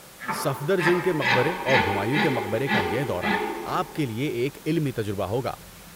صفدرجنگ کے مقبرے اور ہمایوں کے مقبرے کا یہ دورہ آپ کے لیے کا ایک علمی تجربہ ہوگا۔